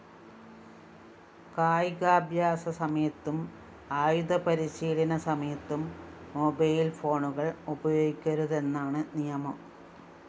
കായികാഭ്യാസ സമയത്തും ആയുധപരിശീലന സമയത്തും മൊബൈൽ ഫോണുകള്‍ ഉപയോഗിക്കരുതെന്നാണ് നിയമം